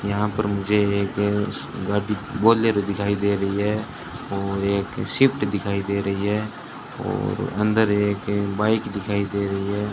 यहां पर मुझे एक गाड़ी बोलेरो दिखाई दे रही है और एक स्विफ्ट दिखाई दे रही है और अंदर एक बाइक दिखाई दे रही है।